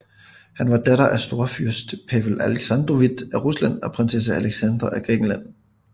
Hun var datter af storfyrst Pavel Aleksandrovitj af Rusland og prinsesse Alexandra af Grækenland